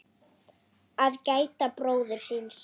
Að gæta bróður síns